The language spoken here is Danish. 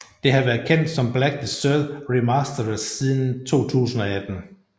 Det har været kendt som Black Desert Remastered siden 2018